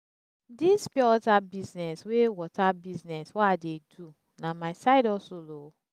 dis pure water business wey water business wey i dey do na my side hustle o.